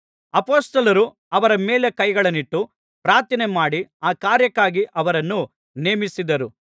ಅಪೊಸ್ತಲರು ಅವರ ಮೇಲೆ ಕೈಗಳನ್ನಿಟ್ಟು ಪ್ರಾರ್ಥನೆಮಾಡಿ ಆ ಕಾರ್ಯಕ್ಕಾಗಿ ಅವರನ್ನು ನೇಮಿಸಿದರು